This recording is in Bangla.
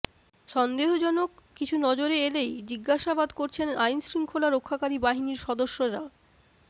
সন্দেহজনক কিছু নজরে এলেই জিজ্ঞাসাবাদ করছেন আইনশৃঙ্খলা রক্ষাকারী বাহিনীর সদস্যেরা